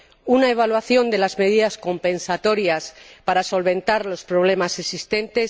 una evaluación de las medidas compensatorias, para solventar los problemas existentes